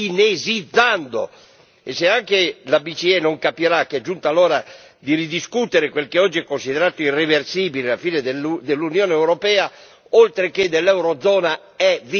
E se anche la BCE non capirà che è giunta l'ora di ridiscutere quel che oggi è considerato irreversibile, la fine dell'Unione europea oltre che dell'Eurozona è vicina, è prossima.